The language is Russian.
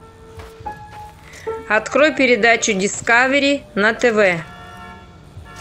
открой передачу дискавери на тв